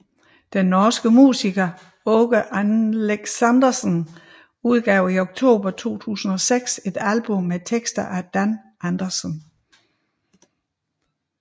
Den norske musiker Åge Aleksandersen udgav i oktober 2006 et album med tekster af Dan Andersson